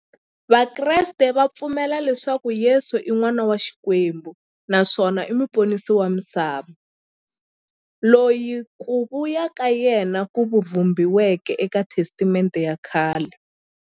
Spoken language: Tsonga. Vakreste va pfumela leswaku Yesu i n'wana wa Xikwembu naswona i muponisi wa misava, loyi ku vuya ka yena ku vhumbiweke e ka Testamente ya khale.